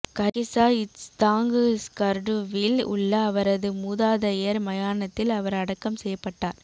கர்கிசா இச்தாங் ஸ்கர்டுவில் உள்ள அவரது மூதாதையர் மயானத்தில் அவர் அடக்கம் செய்யப்பட்டார்